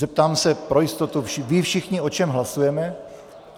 Zeptám se pro jistotu - vědí všichni, o čem hlasujeme?